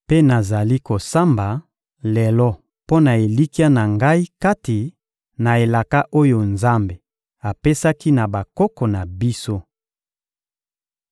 Mpe nazali kosamba lelo mpo na elikya na ngai kati na elaka oyo Nzambe apesaki na bakoko na biso.